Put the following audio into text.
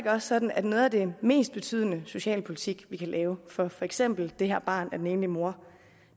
også sådan at noget af den mest betydende socialpolitik vi kan lave for for eksempel det her barn af den enlige mor